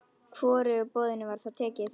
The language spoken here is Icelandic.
Hvorugu boðinu var þá tekið.